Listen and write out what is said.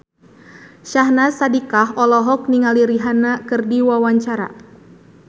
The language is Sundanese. Syahnaz Sadiqah olohok ningali Rihanna keur diwawancara